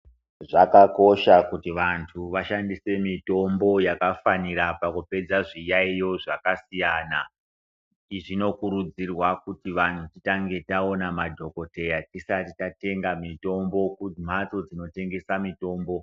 Zvakakosha kuti vantu vashandise mitombo yakafanira pakupedza zviyaiyo zvakasiyana. Izvi zvinokurudzirwa kuti vantu titange taona madhogodheya tisati tatenga mitombo kumhatso dzinotengesa mitombo.